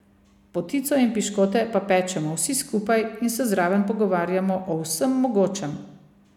Potico in piškote pa pečemo vsi skupaj in se zraven pogovarjamo o vsem mogočem.